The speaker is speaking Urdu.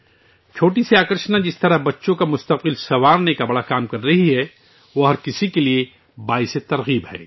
جس طرح چھوٹی سی کشش بچوں کے مستقبل کو سنوارنے کا بہت اچھا کام کر رہی ہے، وہ سب کو متاثر کرنے والی ہے